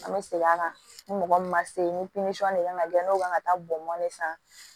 An bɛ segin a kan ni mɔgɔ min ma se ni de kan ka kɛ n'o kan ka taa bɔn ne san